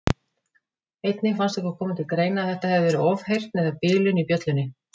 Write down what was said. Einnig fannst okkur koma til greina að þetta hefði verið ofheyrn eða bilun í bjöllunni.